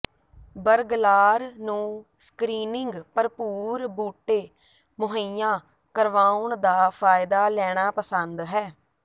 ਬਰਗਲਾਰ ਨੂੰ ਸਕਰੀਨਿੰਗ ਭਰਪੂਰ ਬੂਟੇ ਮੁਹੱਈਆ ਕਰਵਾਉਣ ਦਾ ਫਾਇਦਾ ਲੈਣਾ ਪਸੰਦ ਹੈ